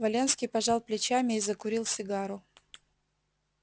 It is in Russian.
валенский пожал плечами и закурил сигару